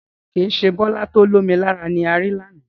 Rárá, kìí ṣe Bọlá to ó lomi lára ni ari lànà.